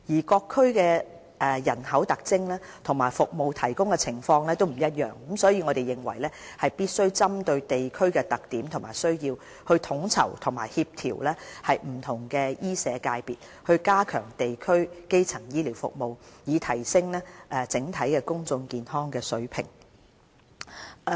各區的人口特徵和服務提供的情況不一樣，所以我們認為必須針對地區的特點和需要，統籌和協調不同醫社界別，加強地區基層醫療服務，以提升整體公眾健康的水平。